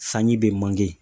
Sanji bɛ